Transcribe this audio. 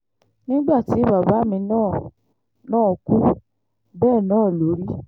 nígbà tí bàbá mi náà náà kú bẹ́ẹ̀ náà ló rí